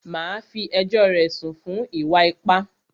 Màá fí ẹjọ́ rẹ̀ sùn fún ìwà ipá!